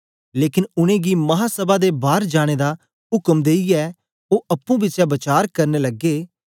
लेकन उनेंगी महासभै दे बार जाने दा उक्म देईयै ओ अप्पुं बिचें वचार करन लगे